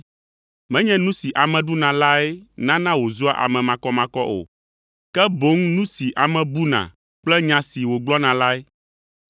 Menye nu si ame ɖuna lae nana wòzua ame makɔmakɔ o, ke boŋ nu si ame buna kple nya si wògblɔna lae.”